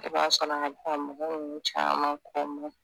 I b'a sɔrɔ a mɔgɔ nunnu caaman kɔ maɲi